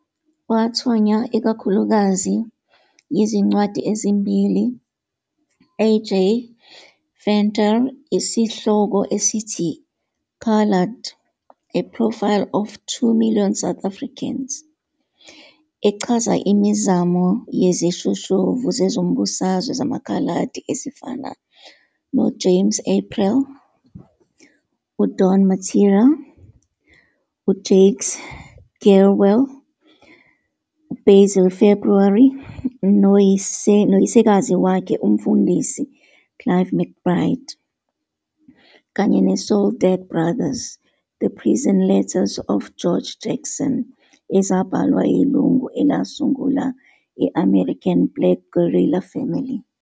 Wathonywa ikakhulukazi yizincwadi ezimbili Ik- A. J. Venter yesihloko esithi- "Coloured- A Profile of 2 Million South Africans", echaza imizamo yezishoshovu zezombusazwe zamaKhaladi ezifana noJames April, uDon Mattera, uJakes Gerwel, uBasil February, noyisekazi wakhe, uMfundisi, Clive McBride, kanye ne-"Soledad Brothers- The Prison Letters of George Jackson", ezabhalwa yilungu elasungula i-American Black Guerrilla Family.